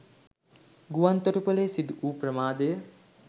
ගුවන් තොටුපළේ සිදු වූ ප්‍රමාදය